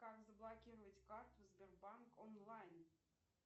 как заблокировать карту сбербанк онлайн